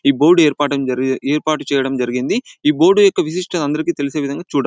ఏ board ఏరిపాటు ఏర్పాటు చేయడం జరిగింది ఏ బోర్డు యొక్క విశిష్టత ఆంధ్రాకి తెలిసే విందంగా చుడండి.